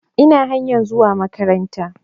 Ina kan hanya ta zuwa makabarta.